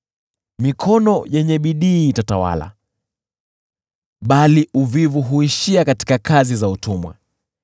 Mikono yenye bidii itatawala, bali uvivu huishia katika kazi za utumwa.